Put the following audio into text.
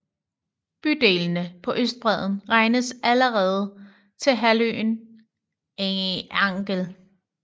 Bydelene på østbredden regnes allerede til halvøen Angel